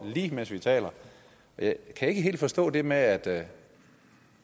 lige mens vi taler jeg kan ikke helt forstå det med at det